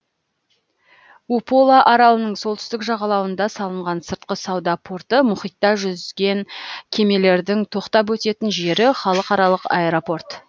упола аралының солтүстік жағалауында салынған сыртқы сауда порты мұхитта жүзген кемелердің тоқтап өтетін жері халықаралық аэропорт